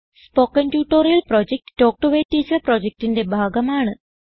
spoken tutorial project talk to a teacher പ്രൊജക്റ്റിന്റെ ഭാഗമാണ്